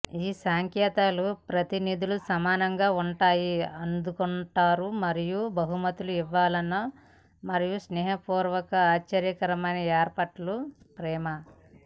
ఈ సంకేతాల ప్రతినిధుల సమానంగా ఉంటాయి అందుకుంటారు మరియు బహుమతులు ఇవ్వాలని మరియు స్నేహపూర్వక ఆశ్చర్యకరమైన ఏర్పాట్లు ప్రేమ